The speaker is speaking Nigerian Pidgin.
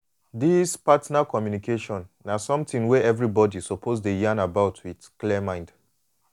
this partner communication na something wey everybody suppose dey yan about with clear mind.